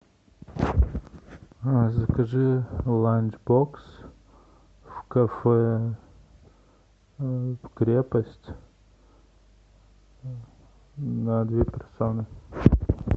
закажи ланч бокс в кафе крепость на две персоны